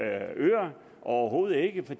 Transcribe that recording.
overhovedet ikke